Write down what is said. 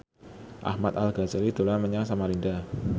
Ahmad Al Ghazali dolan menyang Samarinda